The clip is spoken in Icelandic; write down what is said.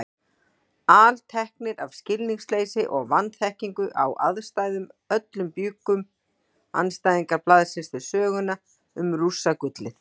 Alteknir af skilningsleysi og vanþekkingu á aðstæðum öllum bjuggu andstæðingar blaðsins til söguna um Rússagullið.